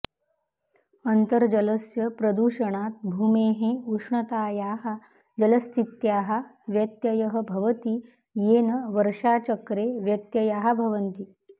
अन्तर्जलस्य प्रदूषणात् भूमेः उष्णतायाः जलस्थित्याः व्यत्ययः भवति येन वर्षाचक्रे व्यत्ययाः भवन्ति